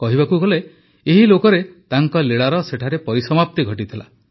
କହିବାକୁ ଗଲେ ଏହି ଲୋକରେ ତାଙ୍କ ଲୀଳାର ସେଠାରେ ପରିସମାପ୍ତି ଘଟିଥିଲା